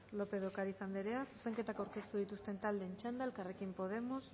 lópez de ocariz anderea zuzenketak aurkeztu dituzten taldeen txanda elkarrekin podemos